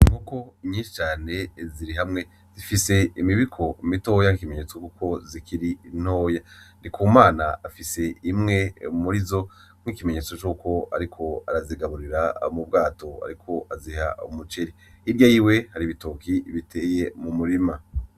Inkoko nyinshi cane ziri hamwe, zifise imibiko mitoya nk'ikimenyetso cuko zikiri ntoya. Ndikumana afise imwe murizo nk'ikimenyetso cuko ariko arazigaburira mu bwato, ariko aziha umuceri. Hirya yiwe hari ibitoki biteye mu murima.